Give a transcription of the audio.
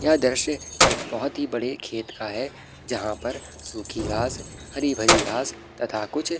यह दृश्य एक बहुत ही बड़े खेत का है जहाँ पर सूखी घास हरी-भरी घास तथा कुछ --